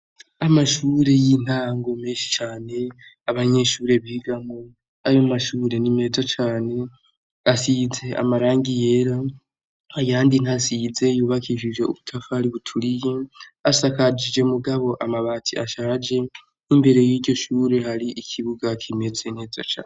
Amashure y'intango meshi cane abanyeshuri bigamwo ayo mashuri n'imeza cane asize amarangi yera ayandi ntasize yubakishije ubutafari buturiye asakajije mugabo amabati ashaje n'imbere y'iryoshure hari ikibuga kimeze neza cane.